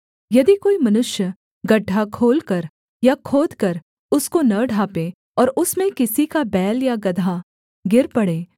यदि कोई मनुष्य गड्ढा खोलकर या खोदकर उसको न ढाँपे और उसमें किसी का बैल या गदहा गिर पड़े